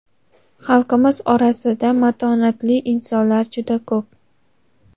Xalqimiz orasida matonatli insonlar juda ko‘p.